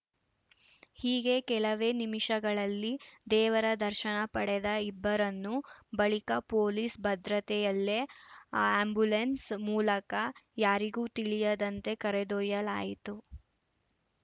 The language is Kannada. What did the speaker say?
ಹೀಗೆ ಕೆಲವೇ ನಿಮಿಷಗಳಲ್ಲಿ ದೇವರ ದರ್ಶನ ಪಡೆದ ಇಬ್ಬರನ್ನೂ ಬಳಿಕ ಪೊಲೀಸ್‌ ಭದ್ರತೆಯಲ್ಲೇ ಆ್ಯಂಬುಲೆನ್ಸ್‌ ಮೂಲಕ ಯಾರಿಗೂ ತಿಳಿಯದಂತೆ ಕರೆದೊಯ್ಯಲಾಯಿತು